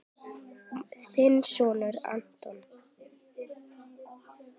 Þinn sonur, Anton.